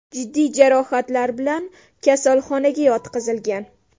jiddiy jarohatlar bilan kasalxonaga yotqizilgan.